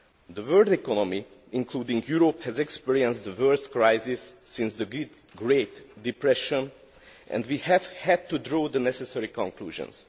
The world economy, including Europe, has experienced the worst crisis since the Great Depression and we have had to draw the necessary conclusions.